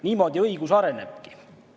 Niimoodi õigus arenebki.